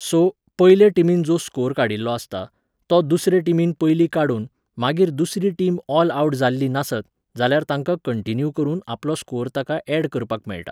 So, पयले टिमीन जो स्कोर काडिल्लो आसता, तो दुसरे टिमीन पयलीं काडून, मागीर दुसरी टीम ऑल आवट जाल्ली नासत, जाल्यार तांकां कंटिन्यू करून आपलो स्कोर ताका ऍड करपाक मेळटा.